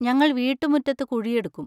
ഞങ്ങൾ വീട്ടുമുറ്റത്ത് കുഴിയെടുക്കും.